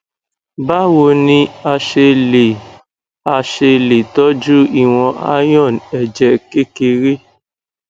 báwo ni a ṣe lè a ṣe lè tọjú ìwọn iron ẹjẹ kékeré